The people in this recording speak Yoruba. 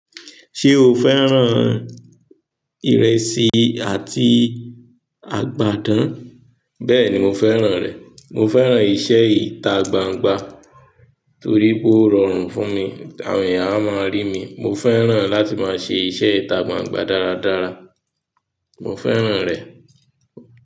Ṣé o fẹ́ràn ìrẹsì àti àgbàdán? Bẹ́ẹ̀ni mo fẹ́ràn rẹ̀. Mo fẹ́ràn iṣẹ́ ìta gbangba torí pó rọrùn fún mi, àwọn èyàn a máa rí mi. Mo fẹ́ràn láti máa ṣe iṣẹ́ ìta gbangba dáradára. Mo fẹ́ràn rẹ̀.